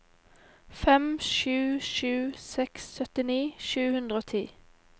fem sju sju seks syttini sju hundre og ti